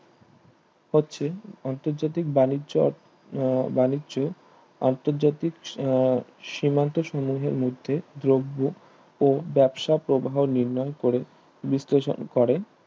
হচ্ছে আন্তর্জাতিক বাণিজ্য বাণিজ্য আন্তর্জাতিক আহ সীমান্ত সম্মূহের মধ্যে দ্রব্য ও ব্যবসা প্রবাহ নির্ণয় করে বিশ্লেষণ করে